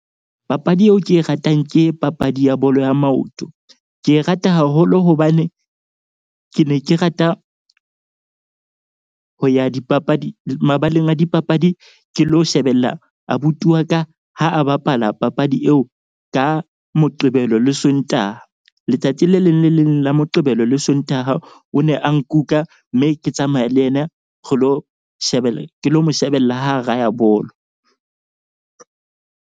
Papadi eo ke e ratang ke papadi ya bolo ya maoto. Ke e rata haholo hobane ke ne ke rata ho ya dipapadi mabaleng a dipapadi. Ke lo shebella abuti wa ka ha a bapala papadi eo ka Moqebelo le Sontaha. Letsatsi le leng le leng la Moqebelo le Sontaha o ne a nkuka, mme ke tsamaya le yena re lo shebella ke lo mo shebella ha raya bolo.